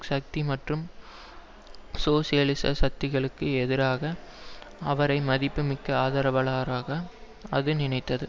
சக்தி மற்றும் சோசியலிச சக்திகளுக்கு எதிராக அவரை மதிப்பு மிக்க ஆதரவாளராக அது நினைத்தது